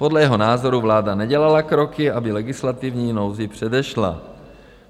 Podle jeho názoru vláda nedělala kroky, aby legislativní nouzi předešla.